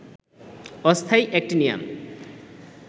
অস্থায়ী অ্যাক্টিনিয়াম